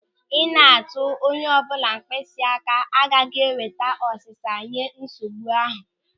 Ị na-atụ onye ọbụla mkpịsị aka agaghị eweta ọsịsa nye nsogbu ahụ.